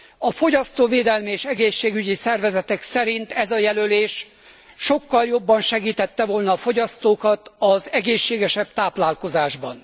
A fogyasztóvédelmi és egészségügyi szervezetek szerint ez a jelölés sokkal jobban segítette volna a fogyasztókat az egészségesebb táplálkozásban.